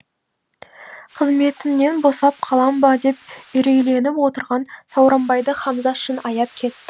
қызметімнен босап қалам ба деп үрейленіп отырған сауранбайды хамза шын аяп кетті